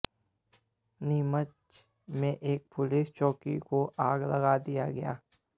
नीमच में एक पुलिस चौकी को आग लगा दिया गया